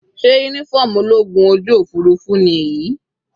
Sé uniform ológun ojú òfurufú ni èyí?